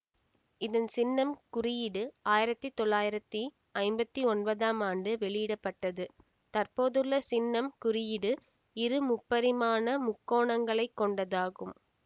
இதன் சின்னம் குறியீடு ஆயிரத்தி தொள்ளாயிரத்தி ஐம்பத்தி ஒன்பதாம் ஆண்டு வெளியிட பட்டது தற்போதுள்ள சின்னம் குறியீடு இரு முப்பரிமாண முக்கோணங்களைக் கொண்டதாகும்